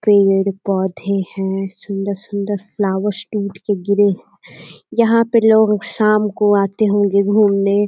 पेड़-पौधे हैं। सुंदर सुंदर फ्लावर्स टूट के गिरे हैं। यहाँ पे लोग शाम को आते होंगे घूमने।